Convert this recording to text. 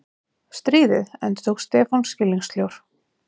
Stríðið? endurtók Stefán skilningssljór.